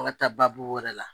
An ka taa babu wɛrɛ la.